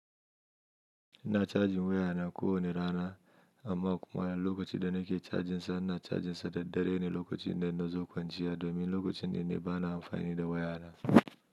Ina cajin wayana ko wane rana, amma kuma lokacin da nake cajinsa, ina cajinsa da dare ne lokacin da nazo kwanciya domin lokacin nan ne bana amfani da wayana.